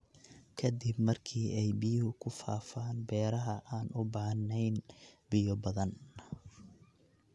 Ka dib markii ay biyuhu ku faafaan beeraha aan u baahnayn biyo badan.